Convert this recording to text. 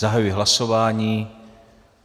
Zahajuji hlasování.